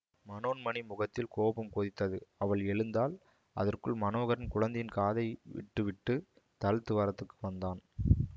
மனோன்மணி முகத்தில் கோபம் கொதித்தது அவள் எழுந்தாள் அதற்குள் மனோகரன் குழந்தையின் காதை விட்டு விட்டு தாழ்த்துவாரத்துக்கு வந்தான்